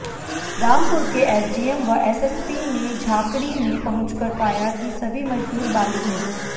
रामपुर के एसडीएम व एएसपी ने झाकड़ी में पहुंचकर पाया कि सभी मजदूर बालिग हैं